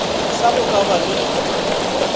sa go ka ba le